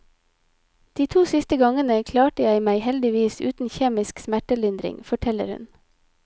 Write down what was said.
De to siste gangene klarte jeg meg heldigvis uten kjemisk smertelindring, forteller hun.